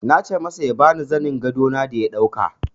Na ce masa ya ba ni zanin gado na da ya dauka jiya.